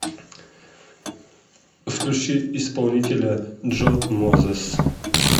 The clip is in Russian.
включи исполнителя джо мозес